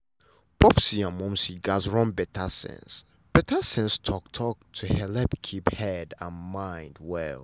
popsi and momsi gatz run better sense better sense talk-talk to helep keep sense and mind well.